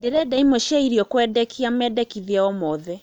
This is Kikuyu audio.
Ndĩrenda ĩmwe cĩa ĩrĩo kũendekĩa medekĩthĩa o mothe